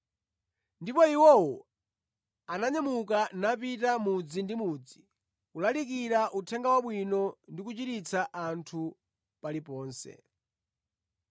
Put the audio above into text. Ndipo iwo ananyamuka napita, mudzi ndi mudzi, kulalikira Uthenga Wabwino ndi kuchiritsa anthu paliponse.